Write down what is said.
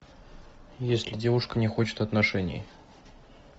если девушка не хочет отношений